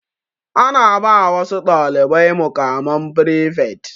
Ana ba wasu dalibai muƙaman frifet.